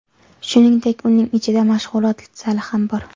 Shuningdek, uyning ichida mashg‘ulot zali ham bor.